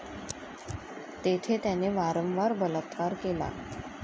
तेथे त्याने वारंवार बलात्कार केला.